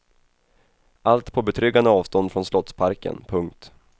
Allt på betryggande avstånd från slottsparken. punkt